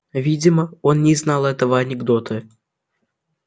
видимо он не знал этого анекдота